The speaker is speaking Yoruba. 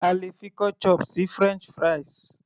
a lè fi ketchup sí french fries